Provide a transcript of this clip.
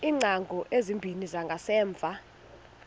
iingcango ezimbini zangasemva